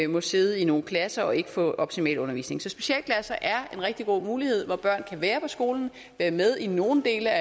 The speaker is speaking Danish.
må sidde i nogle klasser og ikke få optimal undervisning så specialklasser er en rigtig god mulighed hvor børn kan være på skolen være med i nogle dele af